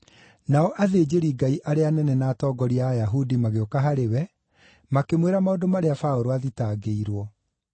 Nao athĩnjĩri-Ngai arĩa anene na atongoria a Ayahudi magĩũka harĩ we, makĩmwĩra maũndũ marĩa Paũlũ aathitangĩirwo.